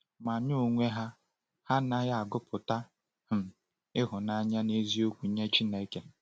Ma n’onwe ha, ha anaghị agụpụta um ịhụnanya n’eziokwu nye Chineke.